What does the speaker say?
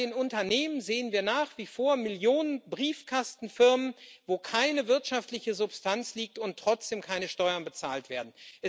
Bei den Unternehmen sehen wir nach wie vor Millionen Briefkastenfirmen, wo keine wirtschaftliche Substanz liegt und trotzdem keine Steuern bezahlt werden.